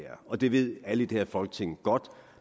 og det ved alle i det her folketing godt